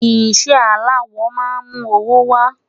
iṣẹ alawọ má mú owó wa